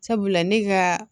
Sabula ne ka